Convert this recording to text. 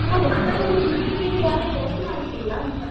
ನಾವು ಉತ್ತರವನ್ನು ಹುಡುಕ್ಲಿಕ್ಕೆ ಈಗ ಯಾರು ಪ್ರಯತ್ನ ಮಾಡ್ತಿಲ್ಲ ಅಂತಾ?